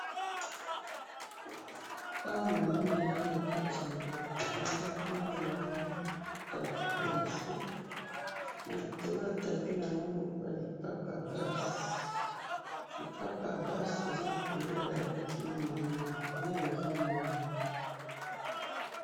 Awa namoni eza nakati yandako, nandako wana namoni tapis nase, nalikolo yatapi namoni balipapa yabasi, lipapa yabasi eza na couleur ya rouge na mwindo, nde nazomona awa